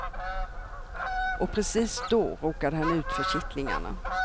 Och precis då råkade han ut för kittlingarna.